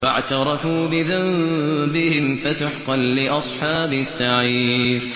فَاعْتَرَفُوا بِذَنبِهِمْ فَسُحْقًا لِّأَصْحَابِ السَّعِيرِ